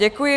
Děkuji.